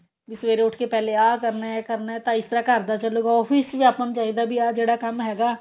ਵੀ ਸਵੇਰੇ ਉੱਠ ਕੇ ਪਹਿਲੇ ਆਹ ਕਰਨਾ ਤਾਂ ਇਸ ਤਰ੍ਹਾਂ ਘਰ ਦਾ ਚੱਲੂਗਾ office ਚ ਵੀ ਆਪਾਂ ਨੂੰ ਚਾਹੀਦਾ ਵੀ ਆਹ ਜਿਹੜਾ ਕੰਮ ਹੈਗਾ